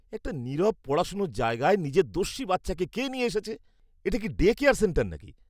একটা নীরব পড়াশোনার জায়গায় নিজের দস্যি বাচ্চাকে কে নিয়ে এসেছে? এটা কি ডে কেয়ার সেন্টার নাকি!